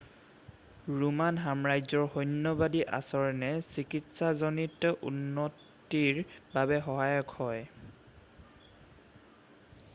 Roman সাম্ৰাজ্যৰ সৈন্যবাদী আচৰণে চিকিৎসাজনিত উন্নতিৰ বাবে সহায়ক হয়